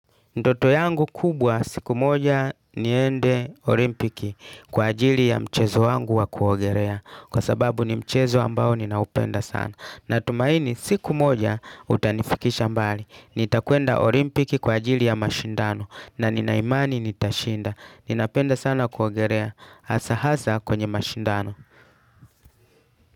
Ndoto yangu kubwa siku moja niende olimpiki kwa ajili ya mchezo wangu wa kuogelea. Kwa sababu ni mchezo ambao ninaupenda sana. Natumaini siku moja utanifikisha mbali. Nitakwenda olimpiki kwa ajili ya mashindano na nina imani nitashinda. Ninapenda sana kuogelea hasa hasa kwenye mashindano.